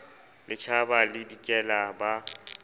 le tjhaba le dikela ba